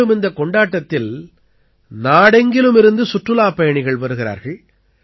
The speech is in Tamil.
மேலும் இந்தக் கொண்டாட்டத்தில் நாடெங்கிலுமிருந்து சுற்றுலாப் பயணிகள் வருகிறார்கள்